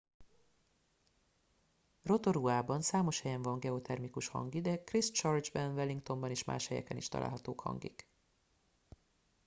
rotoruában számos helyen van geotermikus hangi de christchurchben wellingtonban és más helyeken is találhatók hangik